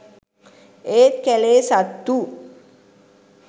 ඒත් කැලේ සත්තු